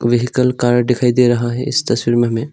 Vehicle card दिखाई दे रहा है इस तस्वीर में हमें।